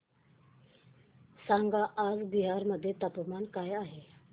सांगा आज बिहार मध्ये तापमान काय आहे